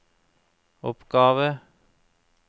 oppgave